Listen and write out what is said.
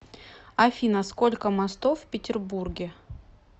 афина сколько мостов в петербурге